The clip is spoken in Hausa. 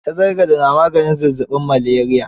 Tazargade ne maganin zazzaɓin maleriya.